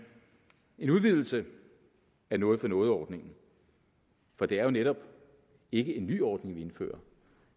en udvidelse af noget for noget ordningen for det er jo netop ikke en ny ordning vi indfører